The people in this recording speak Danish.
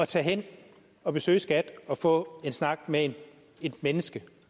tage hen og besøge skat og få en snak med et menneske